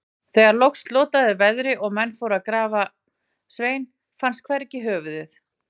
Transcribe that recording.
Þegar loks slotaði veðri og menn fóru til að grafa Svein, fannst hvergi höfuðið.